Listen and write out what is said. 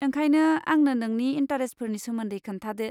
ओंखायनो आंनो नोंनि इन्टारेस्टफोरनि सोमन्दै खोन्थादो।